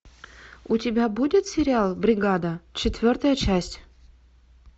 у тебя будет сериал бригада четвертая часть